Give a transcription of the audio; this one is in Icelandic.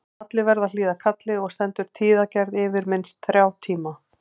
Allir verða að hlýða kalli og stendur tíðagerð yfir minnst þrjá tíma.